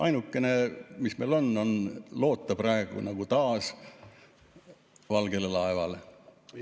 Ainukene, mis meil on, on loota praegu taas valgele laevale.